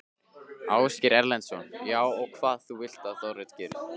Ásgeir Erlendsson: Já, og hvað vilt þú að Dorrit geri?